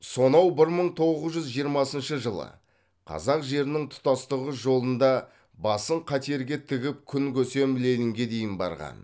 сонау бір мың тоғыз жүз жиырмасыншы жылы қазақ жерінің тұтастығы жолында басын қатерге тігіп күн көсем ленинге дейін барған